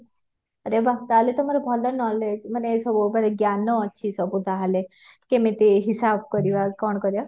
ଆରେ ବାଃ ତାହାଲେ ତ ତମର ଭଲ knowledge ମାନେ ସବୁ ଜ୍ଞାନ ଅଛି ସବୁ ତାହେଲେ କେମିତି ହିସାବ କରିବା କଣ କରିବା